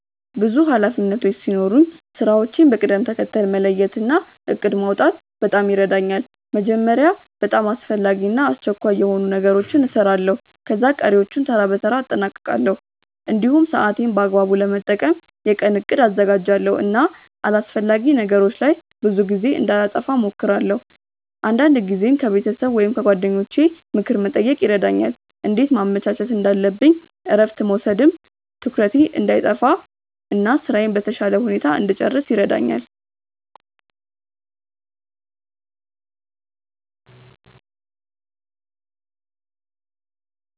ብዙ ኃላፊነቶች ሲኖሩኝ ስራዎቼን በቅደም ተከተል መለየት እና እቅድ ማውጣት በጣም ይረዳኛል። መጀመሪያ በጣም አስፈላጊ እና አስቸኳይ የሆኑ ነገሮችን እሰራለሁ፣ ከዚያ ቀሪዎቹን በተራ በተራ አጠናቅቃለሁ። እንዲሁም ሰዓቴን በአግባቡ ለመጠቀም የቀን እቅድ አዘጋጃለሁ እና አላስፈላጊ ነገሮች ላይ ብዙ ጊዜ እንዳላጠፋ እሞክራለሁ። አንዳንድ ጊዜም ከቤተሰብ ወይም ከጓደኞቼ ምክር መጠየቅ ይረዳኛል እንዴት ማመቻቸት እንዳለብኝ እረፍት መውሰድም ትኩረቴን እንዳይጠፋ እና ስራዬን በተሻለ ሁኔታ እንድጨርስ ይረዳኛል።